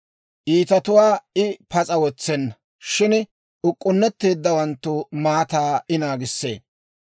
Iitatuwaa I pas'a wotsenna; shin uk'k'unnetteeddawanttu maataa I naagissee.